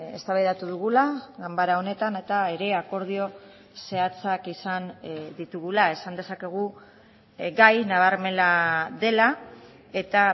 eztabaidatu dugula ganbara honetan eta ere akordio zehatzak izan ditugula esan dezakegu gai nabarmena dela eta